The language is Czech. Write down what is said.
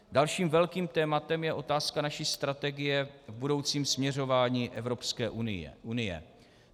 Dalším velkým tématem je otázka naší strategie v budoucím směřování Evropské unie.